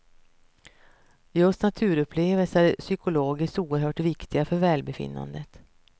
Just naturupplevelser är psykologiskt oerhört viktiga för välbefinnandet.